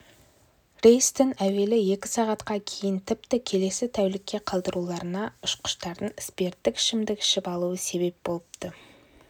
рейстің әуелі екі сағатқа кейін тіпті келесі тәулікке қалдырылуына ұшқыштардың спирттік ішімдік ішіп алуы себеп болыпты